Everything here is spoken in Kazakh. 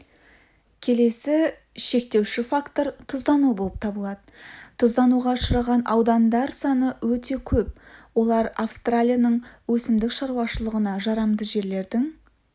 келесі шектеуші фактор тұздану болып табылады тұздануға ұшыраған аудандар саны өте көп олар австралияның өсімдік шаруашылығына жарамды жерлердің